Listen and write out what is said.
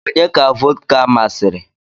Onye ka vọdka masịrị?